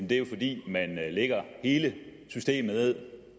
det er jo fordi man lægger hele systemet ned